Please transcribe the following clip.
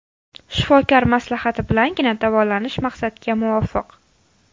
Shifokor maslahati bilangina davolanish maqsadga muvofiq.